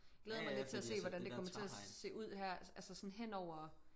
Glæder mig lidt til at se hvordan det kommer til at se ud her altså sådan henover